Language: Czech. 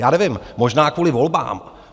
Já nevím, možná kvůli volbám.